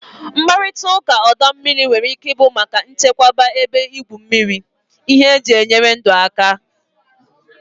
Mkparịta ụka ọdọ mmiri nwere ike ịbụ maka nchekwa ebe igwu mmiri, ihe eji enyere ndụ aka.